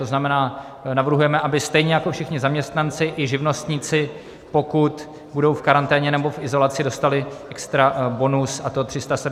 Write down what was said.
To znamená, navrhujeme, aby stejně jako všichni zaměstnanci, i živnostníci, pokud budou v karanténě nebo v izolaci, dostali extra bonus, a to 370 korun na den.